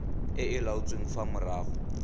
e e laotsweng fa morago